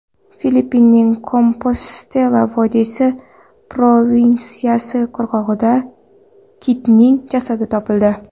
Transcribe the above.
Filippinning Kompostela vodiysi provinsiyasi qirg‘og‘ida kitning jasadi topildi.